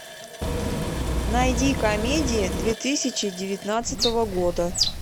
найди комедии две тысячи девятнадцатого года